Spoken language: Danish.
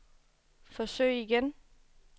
forsøg igen